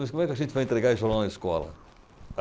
Mas como é que a gente vai entregar esse jornal na escola?